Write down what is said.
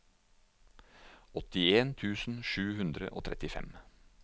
åttien tusen sju hundre og trettifem